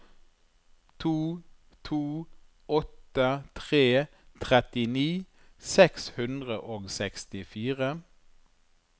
to to åtte tre trettini seks hundre og sekstifire